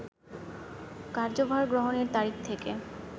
কার্যভার গ্রহণের তারিখ থেকে